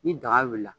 Ni daga wulila